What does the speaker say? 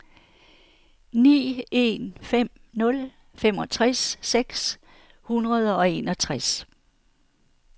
ni en fem nul femogtres seks hundrede og enogtres